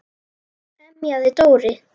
emjaði Dóri.